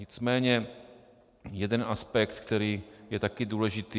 Nicméně jeden aspekt, který je taky důležitý.